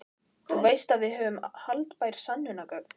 Þú veist að við höfum haldbær sönnunargögn.